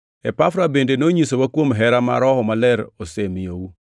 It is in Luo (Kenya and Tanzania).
Epafra bende nonyisowa kuom hera ma Roho Maler osemiyou.